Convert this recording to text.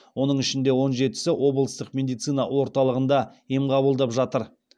оның ішінде он жетісі облыстық медицина орталығында ем қабылдап жатыр